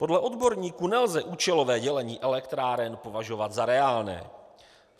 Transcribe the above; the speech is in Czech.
Podle odborníků nelze účelové dělení elektráren považovat za reálné.